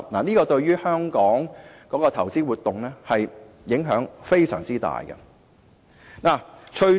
這對香港的投資活動影響非常大。